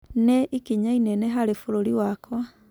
Nĩ-ikinya inene harĩ bũrũri wakwa.